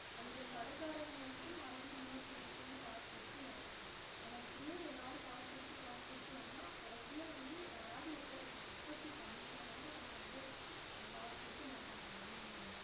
அந்த கடக்காரங்க வந்து மறுபடியும் இன்னொருத்தங்கள்ட்ட இருந்து காசு குடுத்து வாங்கலாம் ஆனா இப்படியே எல்லாரும் காசு குடுத்து காசு குடுத்து வாங்குன கடைசியா வந்து யாராவது ஒருத்தர் அது உற்பத்தி பன்னிருந்தாதானே அவங்க வந்து அஹ் காசுகுடுத்து மத்தவங்க வாங்க முடியும்